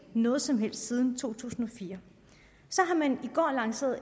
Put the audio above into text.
noget som helst siden to tusind og fire så har man i går lanceret